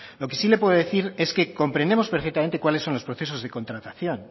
lo que sí le puedo decir es que comprendemos perfectamente cuáles son los procesos de contratación